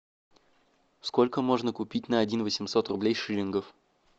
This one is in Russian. сколько можно купить на один восемьсот рублей шиллингов